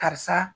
Karisa